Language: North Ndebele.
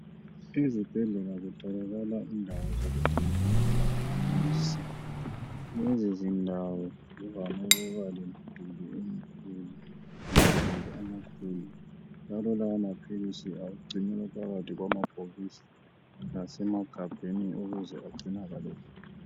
Ezibhedlela kutholakala indawo zokugcinela amaphilizi. Lezizindawo zivame ukuba lemiduli emikhulu lamagumbi amakhulu njalo lawomaphilizi agcinelwa phakathi kwamabhokisi lasemagabheni ukuze agcinakale kuhle.